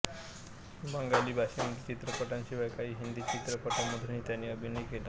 बंगाली भाषेमधील चित्रपटांशिवाय काही हिंदी चित्रपटांमधूनही त्याने अभिनय केला